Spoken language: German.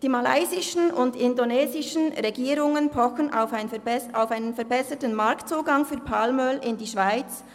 Die malaysischen und indonesischen Regierungen pochen auf einen verbesserten Marktzugang für Palmöl in die Schweiz.